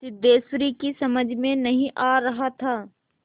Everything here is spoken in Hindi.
सिद्धेश्वरी की समझ में नहीं आ रहा था